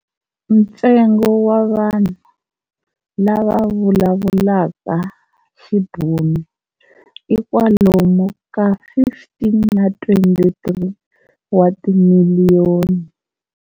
Ntsengo wa vanhu lavavulavulaka Xibhunu i kwalomu ka 15 na 23 wa timiliyoni.